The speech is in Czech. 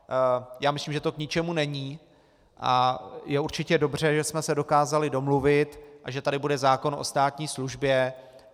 Já myslím, že to k ničemu není a je určitě dobře, že jsme se dokázali domluvit a že tady bude zákon o státní službě.